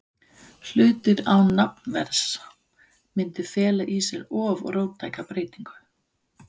hlutir án nafnverðs, mundi fela í sér of róttæka breytingu.